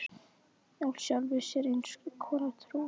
Í sjálfri sér eins konar trú.